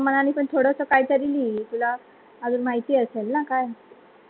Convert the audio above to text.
तुझ्या पण मनानी पण थोडस काही तरी लिही तुला अजून माहिती असेल ना काय